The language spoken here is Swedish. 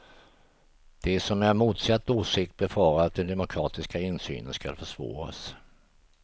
De som är av motsatt åsikt befarar att den demokratiska insynen skulle försvåras.